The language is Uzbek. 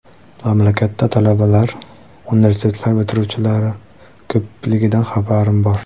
Mamlakatda talabalar, universitetlar bitiruvchilari ko‘pligidan xabarim bor.